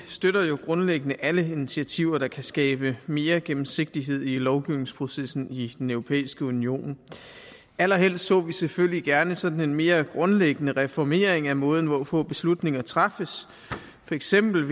støtter jo grundlæggende alle initiativer der kan skabe mere gennemsigtighed i lovgivningsprocessen i den europæiske union allerhelst så vi selvfølgelig gerne sådan en mere grundlæggende reformering af måden hvorpå beslutninger træffes for eksempel